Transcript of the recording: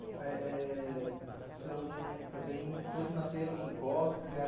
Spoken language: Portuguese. Eh eh são também... Todos nasceram em Icó, criaram